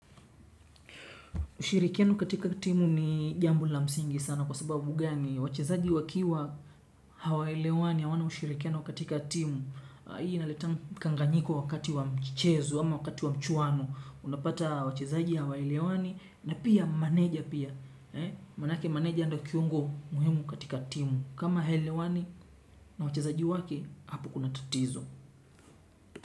Ushirikiano katika timu ni jambo la msingi sana kwa sababu gani iyo. Wachezaji wakiwa hawaelewani hawana ushirikiano katika timu. Hii inaletanga mkanganyiko wakati wa mchezo ama wakati wa mchuano. Unapata wachezaji hawaelewani na pia maneja pia. Manake maneja ndio kiungo muhimu katika timu. Kama haelewani na wachezaji wake hapo kuna tatizo.